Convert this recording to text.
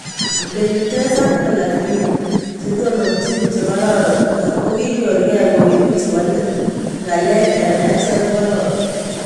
Benitez ak Pellagrini - chetononjin che kororon kokinyor ke koeku chebo let, ngalek eng achek kokararan